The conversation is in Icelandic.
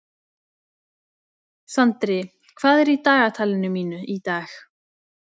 Sandri, hvað er í dagatalinu mínu í dag?